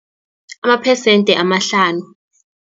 Amaphesende amahlanu.